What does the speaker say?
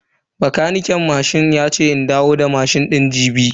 Bakaniken yace in dawo da mashin din jibi.